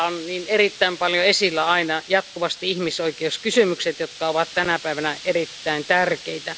Täällä ovat niin erittäin paljon esillä aina jatkuvasti ihmisoikeuskysymykset, jotka ovat tänä päivänä erittäin tärkeitä.